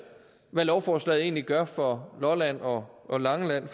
hvad lovforslaget egentlig gør for lolland og og langeland